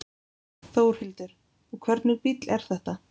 Þórhildur: Og hvernig bíll er þetta?